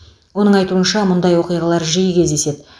оның айтуынша мұндай оқиғалар жиі кездеседі